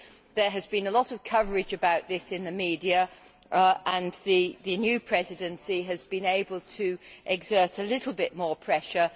There has been a lot of coverage about this in the media, and the new Presidency has been able to exert a little more pressure.